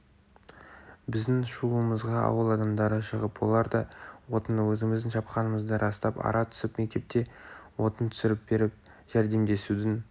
біздің шуымызға ауыл адамдары шығып олар да отынды өзіміздің шапқанымызды растап ара түсіп мектепке отын түсіріп беріп жәрдемдесудің